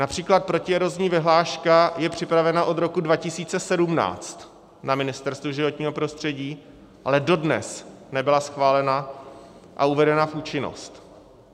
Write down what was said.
Například protierozní vyhláška je připravena od roku 2017 na Ministerstvu životního prostředí, ale dodnes nebyla schválena a uvedena v účinnost.